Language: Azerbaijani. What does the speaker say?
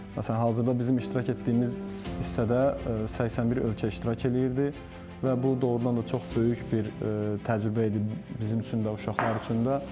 Məsələn, hazırda bizim iştirak etdiyimiz hissədə 81 ölkə iştirak eləyirdi və bu doğrudan da çox böyük bir təcrübə idi bizim üçün də, uşaqlar üçün də.